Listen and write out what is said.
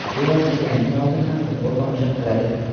bevosita jangdan oldin ham futbol tomosha qiladi.